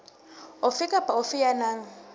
ofe kapa ofe ya nang